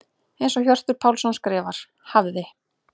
Eins og Hjörtur Pálsson skrifar: Hafði.